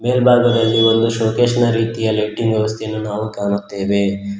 ಮೇಲ್ಭಾಗದಲ್ಲಿ ಒಂದು ಶೋಕೆಸ್ ನ ರೀತಿಯಲ್ಲಿ ಲೈಟಿಂಗ್ ವ್ಯವಸ್ಥೆ ನಾವು ಕಾಣುತ್ತೇವೆ.